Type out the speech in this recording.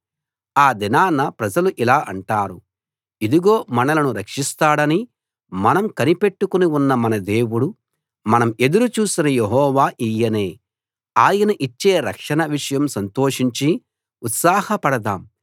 ఆ దినాన ప్రజలు ఇలా అంటారు ఇదిగో మనలను రక్షిస్తాడని మనం కనిపెట్టుకుని ఉన్న మన దేవుడు మనం ఎదురు చూసిన యెహోవా ఈయనే ఆయన ఇచ్చే రక్షణ విషయం సంతోషించి ఉత్సాహ పడదాము